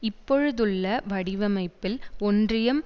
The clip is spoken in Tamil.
இப்பொழுதுள்ள வடிவமைப்பில் ஒன்றியம்